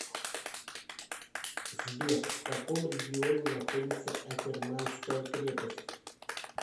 сбер в каком регионе находится акерманская крепость